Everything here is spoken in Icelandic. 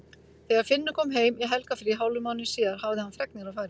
Þegar Finnur kom heim í helgarfrí hálfum mánuði síðar hafði hann fregnir að færa.